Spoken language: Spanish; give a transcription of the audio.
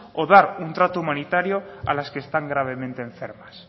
o dar un trato humanitario a las que están gravemente enfermas